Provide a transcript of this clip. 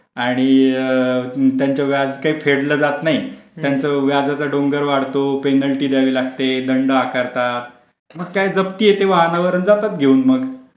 आणि त्यांच्या व्याज काही फेडलं जात नाही त्यांचा व्याज वाढतो पेनल्टी द्यावी लागते, दंड आकारतात, मग काय जप्ती येते वाहनावर जातात घेऊन मग.